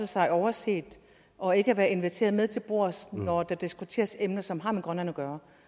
sig overset og ikke inviteret med til bords når der diskuteres emner som har med grønland at gøre